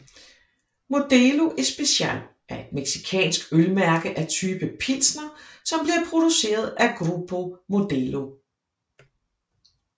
Modelo especial er et mexicansk øl mærke af type pilsner som bliver produceret af Grupo Modelo